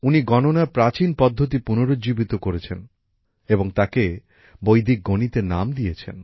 উনি গণনার প্রাচীন পদ্ধতি পুনর্জীবিত করেছেন এবং তাকে বৈদিক গণিতের নাম দিয়েছেন